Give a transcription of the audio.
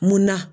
Munna